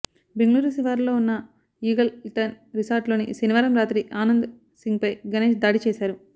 బెంగళూరు శివార్లలో ఉన్న ఈగల్టన్ రిసార్టులో శనివారం రాత్రి ఆనంద్ సింగ్పై గణేశ్ దాడి చేశారు